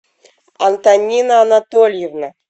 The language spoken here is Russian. антонина анатольевна